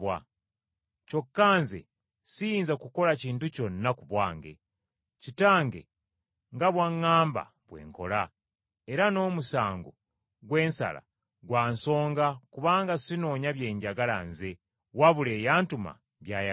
Kyokka Nze siyinza kukola kintu kyonna ku bwange. Kitange nga bw’aŋŋamba bwe nkola, era n’omusango gwe nsala gwa nsonga kubanga sinoonya bye njagala nze, wabula eyantuma by’ayagala.